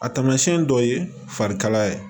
A tamasiyɛn dɔw ye farikalaya ye